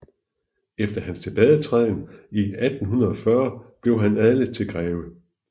Efter hans tilbagetræden i 1840 blev han adlet til greve